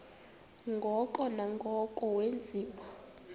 ngoko nangoko wenziwa